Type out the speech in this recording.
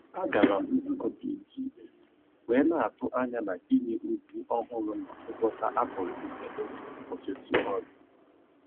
A gara m nzukọ PTA wee na-atụ anya na Inye ozi ọhụrụ na ngwọta a pụrụ ime n'oge nkwụsịtụ ọrụ.